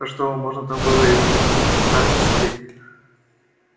а что вам можно там было и во вконтакте сидеть